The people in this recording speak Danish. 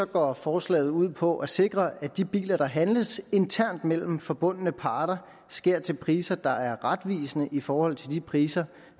går forslaget ud på at sikre at de biler der handles internt mellem forbundne parter sker til priser der er retvisende i forhold til de priser